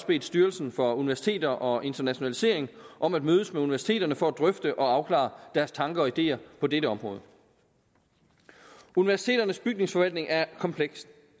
bedt styrelsen for universiteter og internationalisering om at mødes med universiteterne for at drøfte og afklare deres tanker og ideer på dette område universiteternes bygningsforvaltning er kompleks